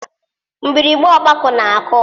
Mgbịrịgba ọgbakọ na-akụ.